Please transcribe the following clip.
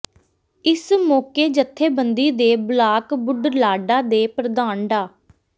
ਇਸ ਮੋਕੇ ਜੱਥੇਬੰਦੀ ਦੇ ਬਲਾਕ ਬੁਢਲਾਡਾ ਦੇ ਪ੍ਰਧਾਨ ਡਾ